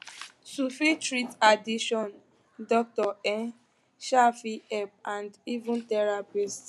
to fit treat addiction doctor um um fit help and even therapist